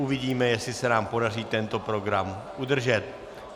Uvidíme, jestli se nám podaří tento program udržet.